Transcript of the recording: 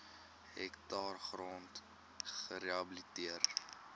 hektaar grond gerehabiliteer